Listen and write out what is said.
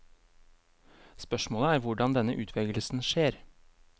Spørsmålet er hvordan denne utvelgelsen skjer.